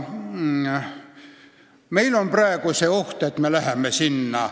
Meil on praegu see oht, et just sinna me hakkame minema.